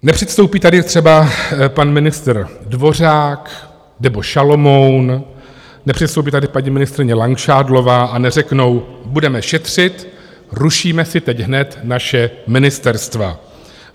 Nepředstoupí tady třeba pan ministr Dvořák nebo Šalomoun, nepředstoupí tady paní ministryně Langšádlová a neřeknou budeme šetřit, rušíme si teď hned naše ministerstva.